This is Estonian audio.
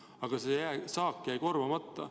Aga saak jäi korvamata.